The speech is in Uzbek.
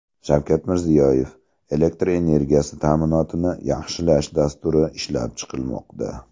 Shavkat Mirziyoyev: Elektr energiyasi ta’minotini yaxshilash dasturi ishlab chiqilmoqda.